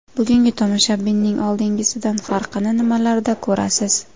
Bugungi tomoshabinning oldingisidan farqini nimalarda ko‘rasiz?